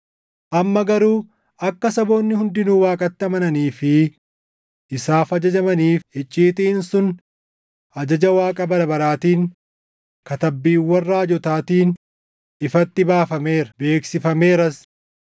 amma garuu akka saboonni hundinuu Waaqatti amananii fi isaaf ajajamaniif icciitiin sun ajaja Waaqa bara baraatiin katabbiiwwan raajotaatiin ifatti baafameera; beeksifameeras.